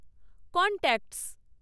contacts